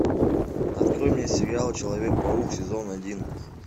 открой мне сериал человек паук сезон один